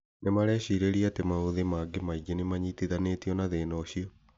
Nĩmarecirĩria atĩ maũthĩ mangĩ maingĩ nĩmanyitithanĩtio na thĩna ũcio